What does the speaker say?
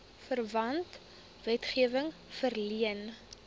verwante wetgewing verleen